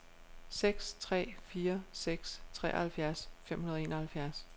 seks tre fire seks treoghalvfjerds fem hundrede og enoghalvfjerds